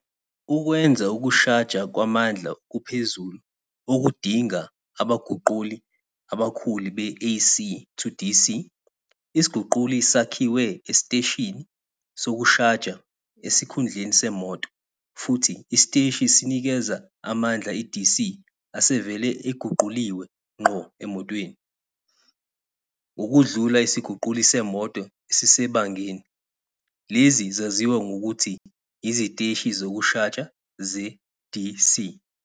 Ukwenza ukushaja kwamandla okuphezulu, okudinga abaguquli abakhulu be-AC-to-DC, isiguquli sakhiwe esiteshini sokushaja esikhundleni semoto, futhi isiteshi sinikeza amandla e-DC asevele eguquliwe ngqo emotweni, ngokudlula isiguquli semoto esisebangeni. Lezi zaziwa ngokuthi "iziteshi zokushaja ze-DC".